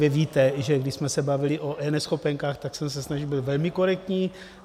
Vy víte, že když jsme se bavili o eNeschopenkách, tak jsem se snažil být velmi korektní.